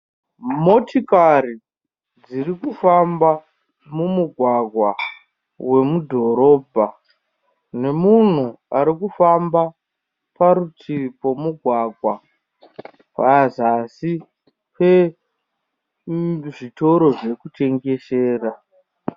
Motikari dziri kufamba mumugwgwa wemudhorobha nemunhu arikufamba parutivi pemugwgawa pazasi pezvitoro zvekutengesera.